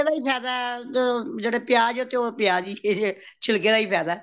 ਚੀਜਾਂ ਦਾ ਹੀ ਫੇਹਦਾ ਅਮ ਜੇੜੇ ਪਿਆਜ਼ ਹੈ ਉਹ ਪਿਆਜ਼ ਹੀ ਹੈ ਛਿਲਕਯਾ ਦਾ ਹੀ ਫਾਇਦਾ